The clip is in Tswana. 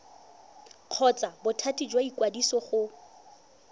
kgotsa bothati jwa ikwadiso go